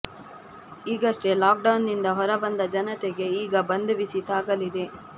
ಈಗಷ್ಟೇ lockdown ನಿಂದ ಹೊರಬಂದ ಜನತೆಗೆ ಈಗ ಬಂದ್ ಬಿಸಿ ತಾಗಲಿದೆ